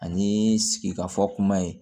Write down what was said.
Ani sigikafɔ kuma ye